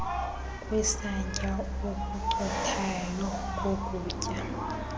kwesantya okucothayo kokutya